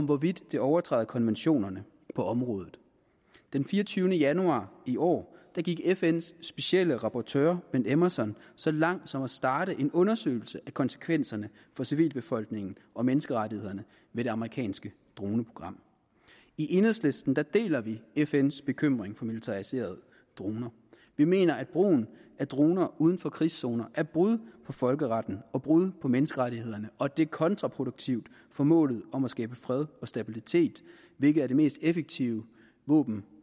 hvorvidt det overtræder konventionerne på området den fireogtyvende januar i år gik fns specielle rapporteur ben emmerson så langt som til at starte en undersøgelse af konsekvenserne for civilbefolkningen og menneskerettighederne ved det amerikanske droneprogram i enhedslisten deler vi fns bekymring for militariserede droner vi mener at brugen af droner uden for krigszoner er brud på folkeretten og brud på menneskerettighederne og det er kontraproduktivt for målet om at skabe fred og stabilitet hvilket er det mest effektive våben